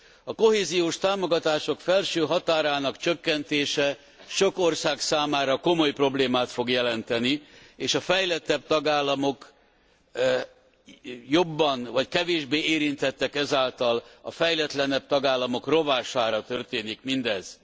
A kohéziós támogatások felső határának csökkentése sok ország számára komoly problémát fog jelenteni, és a fejlettebb tagállamok kevésbé érintettek, ezáltal a fejletlenebb tagállamok rovására történik mindez.